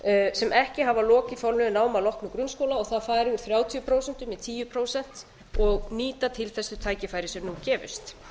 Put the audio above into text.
sem ekki hafa lokið formlegu námi að loknum grunnskóla og það fari úr þrjátíu prósent í tíu prósent og nýta til þess þau tækifæri sem nú gefist